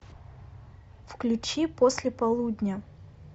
включи после полудня